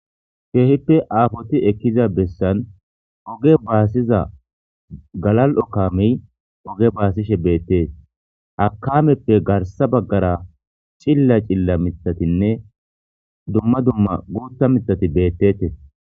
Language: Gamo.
Keehippe aafoti ekkiza bessan oge baasiza galali'o kaamey oge baasishe beettes. Ha kaameppe garssa baggara cilila cilila miththatinne dumma dumma guuththa miththati beettetes.